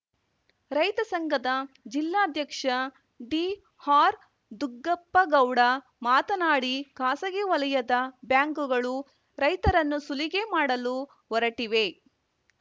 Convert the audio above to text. ರೈತ ಸಂಘದ ಜಿಲ್ಲಾಧ್ಯಕ್ಷ ಡಿಆರ್‌ದುಗ್ಗಪ್ಪಗೌಡ ಮಾತನಾಡಿ ಖಾಸಗಿ ವಲಯದ ಬ್ಯಾಂಕ್‌ಗಳು ರೈತರನ್ನು ಸುಲಿಗೆ ಮಾಡಲು ಹೊರಟಿವೆ